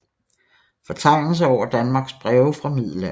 Fortegnelse over Danmarks Breve fra Middelalderen